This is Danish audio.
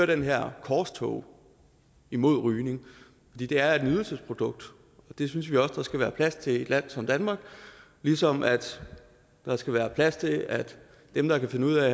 det her korstog mod rygning det er et nydelsesprodukt og det synes vi også der skal være plads til i et land som danmark ligesom der skal være plads til at dem der kan finde ud af